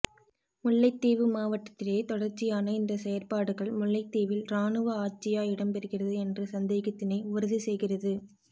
முல்லைத்தீவு மாவட்டத்திலே தொடர்ச்சியான இந்த செயற்பாடுகள் முல்லைத்தீவில் இராணுவ ஆட்சியா இடம்பெறுகிறது என்ற சந்தேகத்தினை உறுதி செய்கிறது